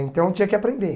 Então tinha que aprender.